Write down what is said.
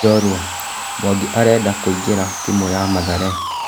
(njorua) Mwangi arenda kũingĩ ra timu ya Mathare.